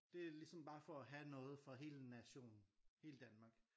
Det er ligesom bare for at have noget for hele nationen hele Danmark